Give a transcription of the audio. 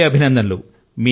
మరో మారు అభినందనలు